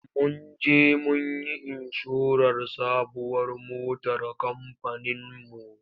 Mun je mun yi inshorar sabuwar motar kamfaninmu.